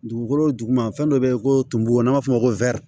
Dugukolo duguma fɛn dɔ be yen ko tubabu an b'a fɔ o ma ko